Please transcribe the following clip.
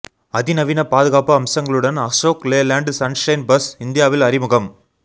அதிநவீன பாதுகாப்பு அம்சங்களுடன் அசோக் லேலண்ட் சன்ஷைன் பஸ் இந்தியாவில் அறிமுகம்